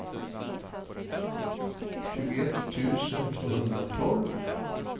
tjugoett tusen tvåhundratolv